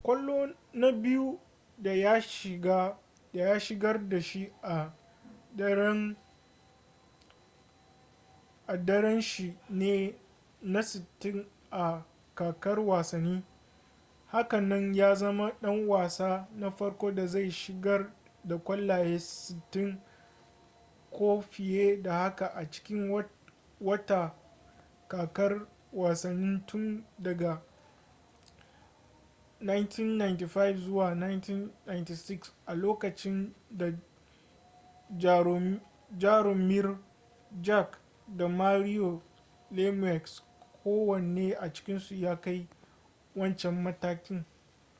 kwallo na biyu da ya shigar da shi a daren shi ne na 60 a kakar wasanni haka nan ya zama ɗan wasa na farko da zai shigar da kwallaye 60 ko fiye da haka a cikin wata kakar wasanni tun daga 1995-96 a lokacin da jaromir jagr da mario lemieux kowane a cikinsu ya kai wancan matakin